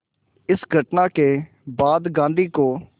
इस घटना के बाद गांधी को